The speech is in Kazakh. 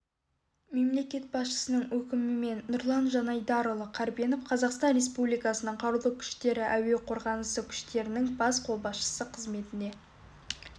мемлекет басшысының өкімімен нұрлан жанайдарұлы карбенов қазақстан республикасының қарулы күштері әуе қорғанысы күштерінің бас қолбасшысы қызметіне